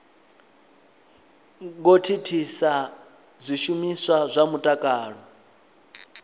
ngo thithisa zwishumiswa zwa mutakalo